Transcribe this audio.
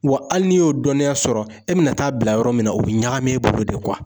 Wa hali n'i y'o dɔnniya sɔrɔ, e bɛna taa bila yɔrɔ min na , o bɛ ɲagami e bolo de